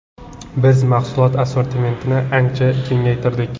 Biz mahsulot assortimentini ancha kengaytirdik.